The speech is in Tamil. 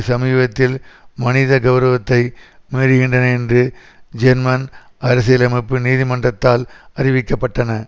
சமீபத்தில் மனித கெளரவத்தை மீறுகின்றன என்று ஜெர்மன் அரசியலமைப்பு நீதிமன்றத்தால் அறிவிக்க பட்டன